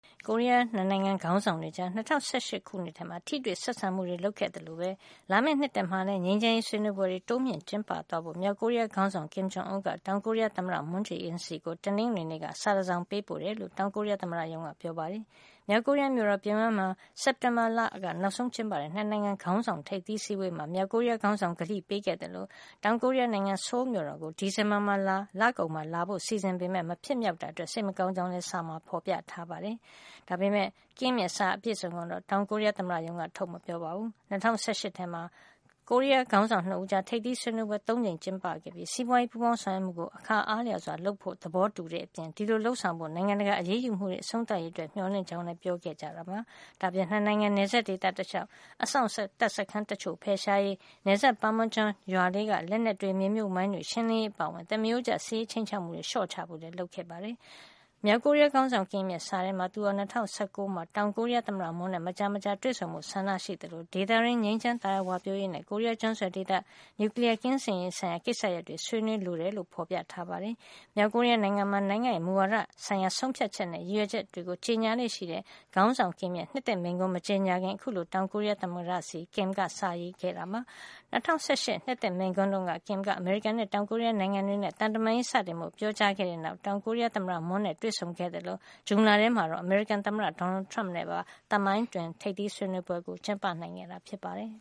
ကိုရီးယား ၂ နိုင်ငံ ခေါင်းဆောင်တွေကြား ၂၀၁၈ ခုနှစ်ထဲ ထိတွေ့ဆက်ဆံမှုတွေ လုပ်ခဲ့သလိုပဲ လာမယ့်နှစ်သစ်မှာလည်း ငြိမ်းချမ်းရေး ဆွေးနွေးပွဲတွေ တိုးမြှင့်ကျင်းပသွားဖို့ မြောက်ကိုရီးယားခေါင်းဆောင် Kin Jong Un က တောင်ကိုရီးယားသမ္မတ Moon Jae-in ဆီ တနင်္ဂနွေနေ့က စာတစောင် ပေးပို့ခဲ့တယ်လို့ တောင်ကိုရီးယား သမ္မတရုံးက ပြောပါတယ်။ မြောက်ကိုရီးယားမြို့တော် ပြုံယမ်းမှာ စက်တင်ဘာလထဲ နောက်ဆုံးကျင်ပခဲ့တဲ့ ၂ နိုင်ငံခေါင်းဆောင် တွေရဲ့ ထိပ်သီး အစည်းအဝေးမှာ မြောက်ကိုရီးယားခေါင်းဆောင် ကတိပေးခဲ့သလို တောင်ကိုရီးယားနိုင်ငံ ဆိုးလ်မြို့တော်ကို ဒီဇင်ဘာလကုန် လာလည်ဖို့ စီစဉ်ထားပေမယ့် မဖြစ်မြောက်ခဲ့တာအတွက် စိတ်မကောင်းကြောင်းလည် စာထဲမှာ ဖေါ်ပြထားတယ်လို့ တောင်ကိုရီးယား သမ္မတရုံးက ပြောပါတယ်။ ဒါပေမယ့်Kim ရဲ့ စာအပြည့်အစုံကိုတော့ တောင်ကိုရီးယားသမ္မတရုံးက ထုတ်မပြောပါဘူး။ ၂၀၁၈ ထဲမှာ ကိုရီးယားခေါင်းဆောင် ၂ ဦး ကြား ထိပ်သီးဆွေးနွေးပွဲ ၃ ကြိမ်ကျင်းပခဲ့ပြီး စီးပွါးရေးပူပေါင်းဆောင်ရွက်မှုကို အခါအားလျှော်စွာ လုပ်ဆောင်ဖို့ သဘောတူခဲ့ကြတဲ့အပြင် ဒီလို လုပ်ဆောင်ဖို့ နိုင်ငံတကာ အရေးယူမှုတွေ အဆုံးသတ်ရေးအတွက် မျှော်လင့်ကြောင်းလည်း ပြောကြားခဲ့ကြတာပါ။ ဒါ့အပြင် ၂ နိုင်ငံ နယ်စပ်ဒေသတလျှောက်က အစောင့်တပ်စခန်းတချို့ဖယ်ရှားရေး၊ နယ်စပ် Panmunjom ရွာကလေးက လက်နက်တွေ၊ မြေမြှုပ်မိုင်းတွေ ရှင်းလင်းရေးအပါအဝင် သမရိုးကျ စစ်ရေးခြိမ်းခြောက်မှုတွေ လျှော့ချဖို့လည်း လုပ်ဆောင်ခဲ့ကြပါတယ်။ မြောက်ကိုရီးယားခေါင်းဆောင် Kim ရဲ့ စာထဲမှာ သူဟာ ၂၀၁၉ ခုနှစ်ထဲမှာ တောင်ကိုရီးယား သမ္မတ Moon နဲ့ မကြာမကြာတွေ့ဆုံဖို့ ဆန္ဒ ရှိသလို ဒေသတွင်း ငြိမ်းချမ်းသာယာ ဝပြောရေးနဲ့ ကိုရီးယား ကျွန်းဆွယ်ဒေသ နျူကလီယားကင်းစင်ရေးဆိုင်ရာ ကိစ္စရပ်တွေကို ဆွေးနွေးသွားလိုကြောင်း ဖေါ်ပြထားတယ်လို့ဆိုပါတယ်။ မြောက်ကိုရီးယားနိုင်ငံမှာ နိုင်ငံ့ရဲ့ မူဝါဒဆိုင်ရာ ဆုံးဖြတ်ချက်တွေနဲ့ ရည်ရွယ်ချက်ပန်းတိုင်တွေကို ကြေညာလေ့ရှိတဲ့ ခေါင်းဆောင် Kim Jong Un ရဲ့ နှစ်သစ်မိန့်ခွန်း မကြေညာခင် အခုလို တောင်ကိုရီးယား သမ္မတဆီကို Kim ကစာရေးသား ပေးပို့ခဲ့တာလည်း ဖြစ်ပါတယ်။ ၂၀၁၈ နှစ်သစ်မိန့်ခွန်းတုန်းက Kim က အမေရိကန်နဲ့ တောင်ကိုရီးယားနိုင်ငံတွေနဲ့ သံတမန်ရေး စတင်ဖို့ ပြောကြားခဲ့တဲ့နောက် တောင်ကိုရီးယား သမ္မတ Moon နဲ့တွေ့ဆုံခဲ့လို ဇွန်လထဲမှာ အမေရိကန်သမ္မတ Donald Trump နဲ့ပါ သမိုင်းတွင်ထိပ်သီးဆွေးနွေးပွဲ ကျင်းပနိုင်ခဲ့တာ ဖြစ်ပါတယ်